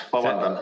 Vabandust!